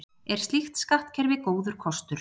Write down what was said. er slíkt skattkerfi góður kostur